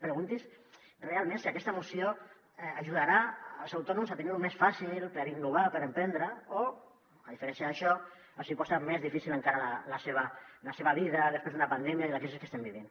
pregunti’s si realment aquesta moció ajudarà els autònoms a tenir·ho més fàcil per innovar per emprendre o a diferència d’ai·xò els hi posa més difícil encara la seva vida després d’una pandèmia i de la crisi que estem vivint